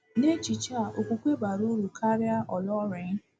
N’echiche a, okwukwe bara uru karịa ọlọnrịn.